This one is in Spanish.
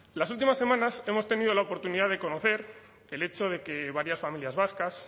las últimas semanas hemos tenido la oportunidad de conocer el hecho de que varias familias vascas